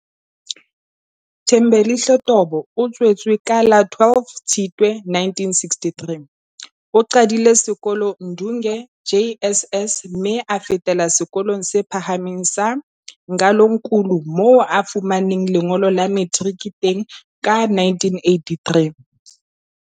Thembelihle Tobo o tswetswe ka la 12 Tshitwe 1963. O qadile ka sekolo Ndunge JSS, mme a fetela sekolong se phahameng sa Ngalonkulu moo a fumaneng lengolo la materike teng ka 1983.